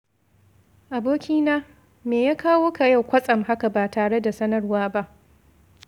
Abokina, me ya kawo ka yau kwatsam haka ba tare da sanarwa ba?